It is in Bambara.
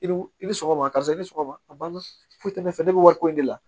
I ni i ni sɔgɔma karisa i ni sɔgɔma a banna fo ne fɛ ne bɛ wari ko in de la